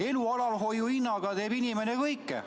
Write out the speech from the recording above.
Elu alalhoiu soovist teeb inimene kõike.